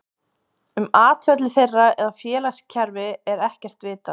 Um atferli þeirra eða félagskerfi er ekkert vitað.